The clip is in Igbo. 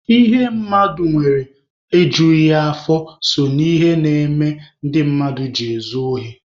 Ihe mmadụ nwere ejughị ya afọ so na ihe mmere ndị mmadụ ji ezu ohi.